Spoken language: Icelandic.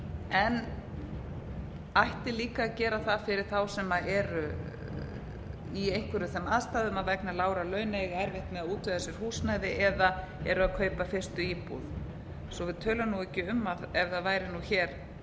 en ætti líka að gera það fyrir þá sem eru í einhverjum þeim aðstæðum að vegna lágra launa eiga erfitt með að útvega sér húsnæði eða eru að kaupa fyrstu íbúð svo við tölum ekki um ef það væri hér